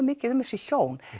mikið um þessi hjón